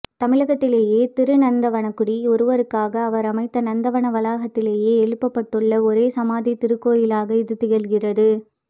தமிழகத்திலேயே திருநந்தவனக்குடி ஒருவருக்காக அவர் அமைத்த நந்தவன வளாகத்திலேயே எழுப்பப்பட்டுள்ள ஒரே சமாதித் திருக்கோயிலாக இதுதிகழ்கிறது